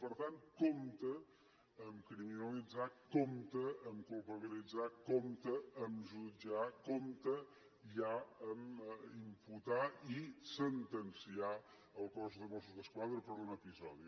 per tant compte a criminalitzar compte a culpabilitzar compte a jutjar compte ja a imputar i sentenciar el cos de mossos d’esquadra per un episodi